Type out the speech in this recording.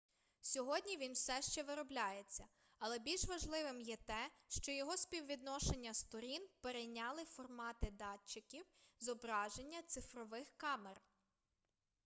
сьогодні він все ще виробляється але більш важливим є те що його співвідношення сторін перейняли формати датчиків зображення цифрових камер